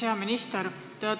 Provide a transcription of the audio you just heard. Hea minister!